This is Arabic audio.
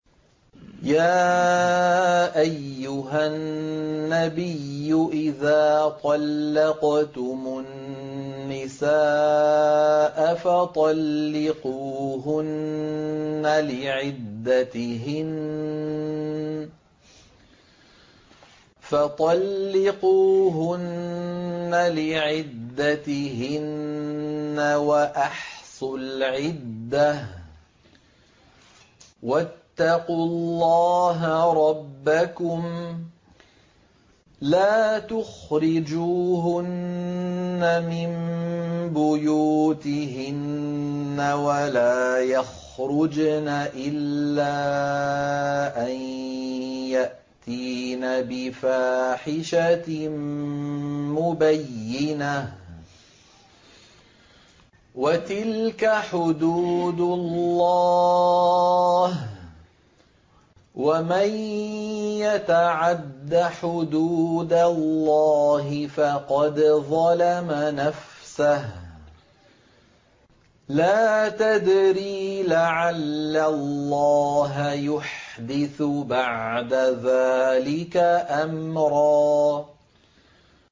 يَا أَيُّهَا النَّبِيُّ إِذَا طَلَّقْتُمُ النِّسَاءَ فَطَلِّقُوهُنَّ لِعِدَّتِهِنَّ وَأَحْصُوا الْعِدَّةَ ۖ وَاتَّقُوا اللَّهَ رَبَّكُمْ ۖ لَا تُخْرِجُوهُنَّ مِن بُيُوتِهِنَّ وَلَا يَخْرُجْنَ إِلَّا أَن يَأْتِينَ بِفَاحِشَةٍ مُّبَيِّنَةٍ ۚ وَتِلْكَ حُدُودُ اللَّهِ ۚ وَمَن يَتَعَدَّ حُدُودَ اللَّهِ فَقَدْ ظَلَمَ نَفْسَهُ ۚ لَا تَدْرِي لَعَلَّ اللَّهَ يُحْدِثُ بَعْدَ ذَٰلِكَ أَمْرًا